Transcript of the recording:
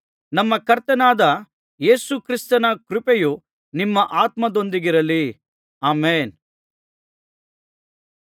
ನಮ್ಮ ಕರ್ತನಾದ ಯೇಸು ಕ್ರಿಸ್ತನ ಕೃಪೆಯು ನಿಮ್ಮ ಆತ್ಮದೊಂದಿಗಿರಲಿ ಆಮೆನ್